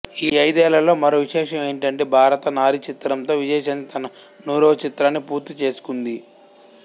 ఈ ఐదేళ్లలో మరో విశేషం ఏమిటంటే భారత నారి చిత్రంతో విజయశాంతి తన నూరవ చిత్రాన్ని పూర్తి చేసుకుంది